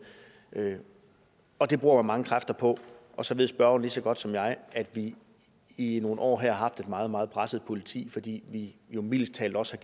og det bruger man mange kræfter på så ved spørgeren lige så godt som jeg at vi i nogle år her har haft et meget meget presset politi fordi vi jo mildest talt også